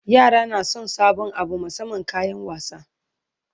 yara na San sabon Abu musamman kayan wasa